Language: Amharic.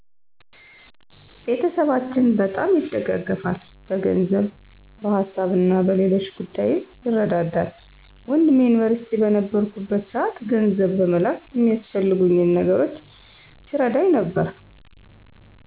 ቤተሰባችን በጣም ይደጋገፋል። በገንዘብ፣ በሀሳብና በሌሎች ጉዳይም ይረዳዳል። ወንድሜ ዩኒቨርስቲ በነበርኩበት ሰዓት ገንዘብ በመላክ የሚያስፈልጉኝን ነገሮች ሲረዳኝ ነበር።